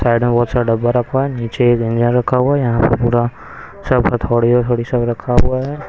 Side में बहुत सारा डब्बा रखा है नीचे एक इंजन रखा हुआ है यहां पर पूरा सब हथोड़ी थोड़ी सब रखा हुआ है।